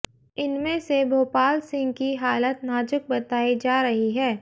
इनमें से भोपाल सिंह की हालत नाजुक बताई जा रही है